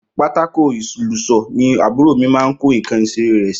Pàtàkó Ilọsọ ni àbúrò mì mà ń kò ikan ìsẹrẹ rẹ si